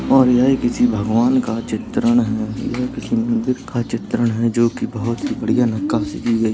और यह किसी भगवान का चित्तरण है यह कृष्ण मंदिर का चित्तरण है जोकि बहुत ही बढ़िया नक्कासी कि गई --